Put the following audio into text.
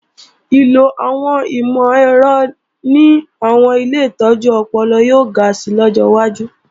Ìlò àwọn ìmọ̀-ẹ̀rọ ní àwọn ilé ìtọ́jú ọpọlọ yóò ga si lọ́jọ́ wájú